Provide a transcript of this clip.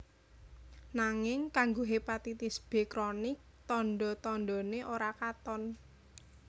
Nanging kanggo hépatitis B kronik tanda tandané ora katon